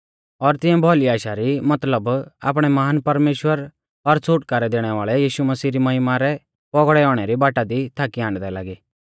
और तिऐं भौली आशा री मतलब आपणै महान परमेश्‍वर और छ़ुटकारै दैणै वाल़ै यीशु मसीह री महिमा रै पौगड़ै औणै री बाटा दी थाकी आण्डदै लागी